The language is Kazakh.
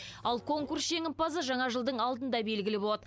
ал конкурс жеңімпазы жаңа жылдың алдында белгілі болады